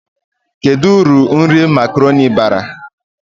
Kedu uru nri makaroni bara?